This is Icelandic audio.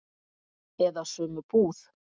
Eða sömu búð.